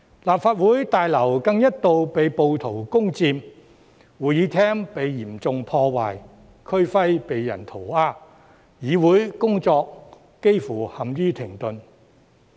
立法會大樓更一度被暴徒攻佔，會議廳被嚴重破壞，區徽被人塗鴉，議會工作幾乎陷於停頓。